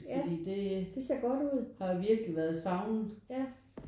Fordi det har virkelig været savnet